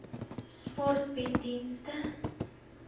sport bied dienste